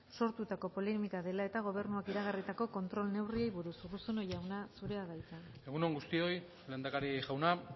sortutako polemika dela eta gobernuak iragarritako kontrol neurriei buruz urruzuno jauna zurea da hitza egun on guztioi lehendakari jauna